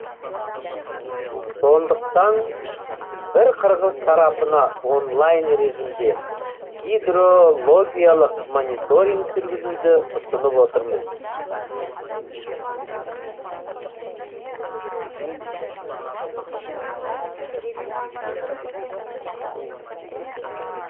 сондықтан біз қырғыз тарапына онлайн режимде гидрологиялық мониторинг жүргізуді ұсынып отырмыз